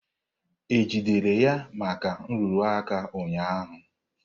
E jidere ya maka nrụrụ aka ụnyaahụ?